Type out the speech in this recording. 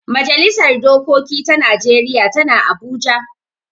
Majalisar dokoki ta najeriya tana abuja